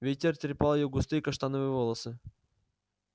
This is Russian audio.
ветер трепал её густые каштановые волосы